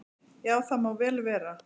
"""Já, það má vel vera."""